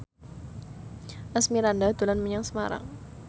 Asmirandah dolan menyang Semarang